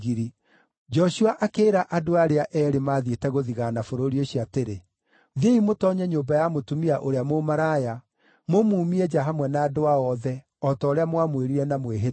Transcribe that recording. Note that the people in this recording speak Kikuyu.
Joshua akĩĩra andũ arĩa eerĩ maathiĩte gũthigaana bũrũri ũcio atĩrĩ, “Thiĩi mũtoonye nyũmba ya mũtumia ũrĩa mũmaraya, mũmuumie nja hamwe na andũ ao othe, o ta ũrĩa mwamwĩrire na mwĩhĩtwa.”